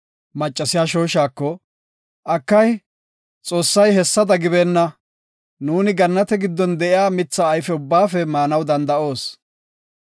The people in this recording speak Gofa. Maccasiya shooshako, “Akay, Xoossay hessada gibeenna; nuuni gannate giddon de7iya mithata ayfe maanaw danda7oos.